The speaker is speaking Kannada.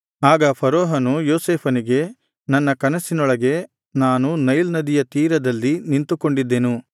ಆಗ ಫರೋಹನು ಯೋಸೇಫನಿಗೆ ನನ್ನ ಕನಸಿನೊಳಗೆ ನಾನು ನೈಲ್ ನದಿಯ ತೀರದಲ್ಲಿ ನಿಂತುಕೊಂಡಿದ್ದೆನು